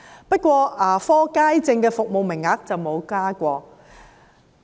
不過，牙科街症的服務名額則沒有增加。